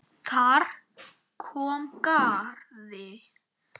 Þar kom at garði